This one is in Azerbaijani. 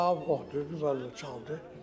Rauf oxudu mən də çaldım.